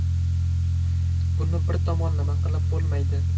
Buni bir tomonlama qilib bo‘lmaydi.